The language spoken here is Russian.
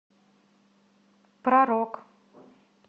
про рок